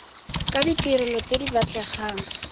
ke ditirelo tse di batlegang